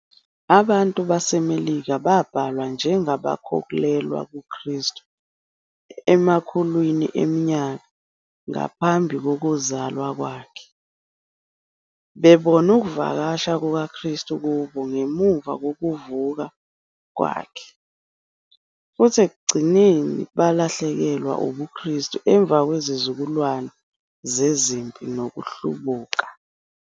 Abantu baseMelika babhalwa njengabakholelwa kuKristu emakhulwini eminyaka ngaphambi kokuzalwa kwakhe, bebona ukuvakasha kukaKristu kubo ngemuva kokuvuka kwakhe, futhi ekugcineni balahlekelwa ubuKristu emva kwezizukulwane zezimpi nokuhlubuka.